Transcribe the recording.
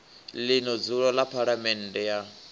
ḽino dzulo ḽa phaḽamennde ya